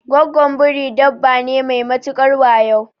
Gwaggon Biri dabba ne mai matukar wayo